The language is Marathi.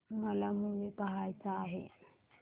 मला मूवी पहायचा आहे